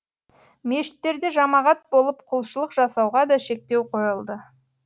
мешіттерде жамағат болып құлшылық жасауға да шектеу қойылды